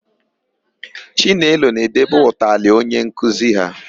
Chinelo na-edebe ụtalị onye nkuzi ha.